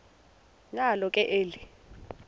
nalo ke eli